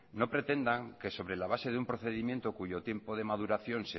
no pretendan que sobre la base de un procedimiento cuyo tiempo de maduración